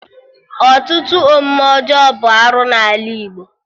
Ọtụtụ omume ọjọọ bụ arụ n'ala Igbo